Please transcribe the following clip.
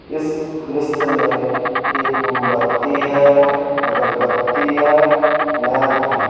इस दृश्य में एक मोमबत्ती है अगरबत्ती है लैंप है।